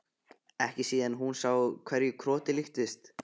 Ekki síðan hún sá hverju krotið líktist.